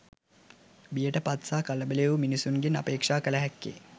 බියට පත් සහ කලබල වූ මිනිසුන්ගෙන් අපේක්‍ෂා කළ හැක්කේ